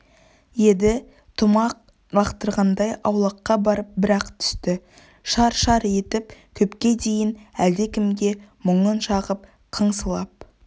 еді тұмақ лақтырғандай аулаққа барып бір-ақ түсті шар-шар етіп көпке дейін әлдекімге мұңын шағып қыңсылап